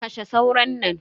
Kashe sauron nan.